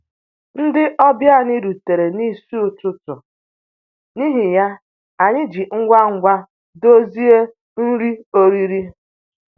Ndị ọbịa anyị rutere n'isi ụtụtụ, n'ihi ya, anyị ji ngwa ngwa dozie nri oriri